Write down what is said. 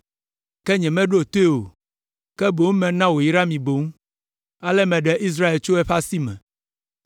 ke nyemeɖo toe o, ke boŋ mena wòyra mi boŋ. Ale meɖe Israel tso eƒe asi me.